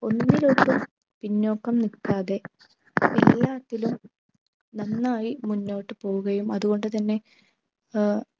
ഒന്നിലേക്കും പിന്നോക്കം നിൽക്കാതെ എല്ലാത്തിലും നന്നായി മുന്നോട്ടു പോവുകയും അതുകൊണ്ടു തന്നെ ഏർ